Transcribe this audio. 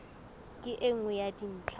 ke e nngwe ya dintlha